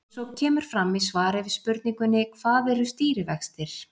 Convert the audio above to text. Eins og kemur fram í svari við spurningunni Hvað eru stýrivextir?